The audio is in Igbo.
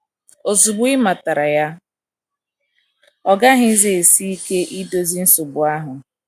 Ozugbo ị matara ya, ọ gaghịzi esi ike idozi nsogbu ahụ. ”